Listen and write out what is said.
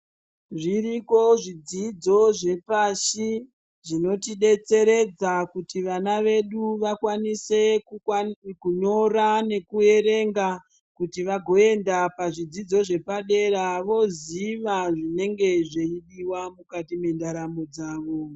Zviriko zvidzidzo zvepashi zvinotidetseredza kuti vana vedu vakwanise kunyora nekuverenga kuti vagoenda pazvidzidzo zvepadera ,voziva zvinenge zveidiwa mukati mendaramo dzawo.